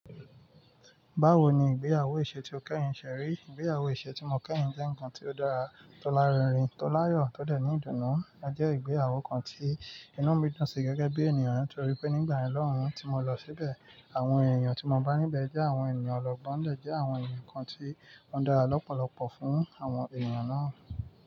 Báwo ni ìgbéyewó ìṣe tí o kẹ́yìn ṣe rí? Ìgbéyewó ìṣe tí mo kẹ́yìn jẹ́ ǹkan tó dára, tó lárinrin, tó láyọ̀, tó dẹ́ ní ìdùnnú. Ó jẹ́ ìgbéyàwó kan tí inú mi dún sí gẹ́gẹ́ bí ènìyàn torí pé nígbà yẹn lohùn tí mo lọ síbẹ̀, àwọn èèyàn tí mo bá níbẹ̀ jẹ́ àwọn èèyàn ọlọ́gbọ́n, wọn dẹ́ jẹ àwọn èèyàn kan tí ó dára lọ́pọ̀lọpọ̀ fún àwọn èèyàn náà.